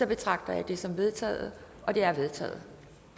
betragter jeg dette som vedtaget det er vedtaget